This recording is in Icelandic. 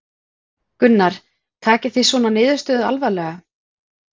Gunnar: Takið þið svona niðurstöðu alvarlega?